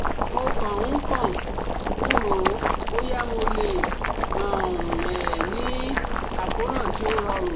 Mo kàn ń kàn ń rò ó bóyá mo lè um ní àkóràn tí ó rọrùn